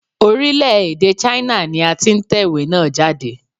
Orílè-èdè China ni a ti n tèwé náà jáde